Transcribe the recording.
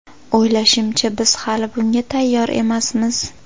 O‘ylashimcha, biz hali bunga tayyor emasmiz.